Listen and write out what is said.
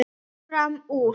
Fer fram úr.